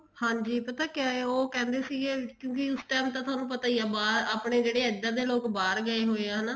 ਹਾਂਜੀ ਪਤਾ ਕਿਆ ਹੈ ਉਹ ਕਹਿੰਦੇ ਸੀਗੇ ਕਿਉਂਕਿ ਉਸ time ਤਾਂ ਥੋਨੂੰ ਪਤਾ ਹੀ ਆ ਬਾਹਰ ਆਪਣੇ ਜਿਦੇ ਇੱਧਰ ਦੇ ਲੋਕ ਬਾਹਰ ਗਏ ਹੋਏ ਆ ਹਨਾ